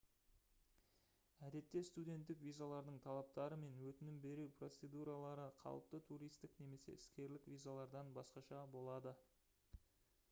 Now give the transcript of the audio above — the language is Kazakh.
әдетте студенттік визалардың талаптары мен өтінім беру процедуралары қалыпты туристік немесе іскерлік визалардан басқаша болады